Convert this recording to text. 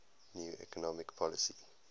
new economic policy